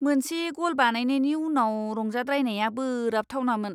मोनसे ग'ल बानायनायनि उनाव रंजाद्रायनाया बोराबथावमोन!